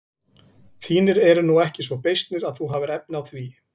Þínir eru nú ekki svo beysnir að þú hafir efni á því.